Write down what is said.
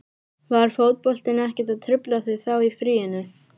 Var fótboltinn ekkert að trufla þig þá í fríinu?